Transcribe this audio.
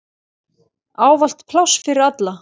Ávallt pláss fyrir alla.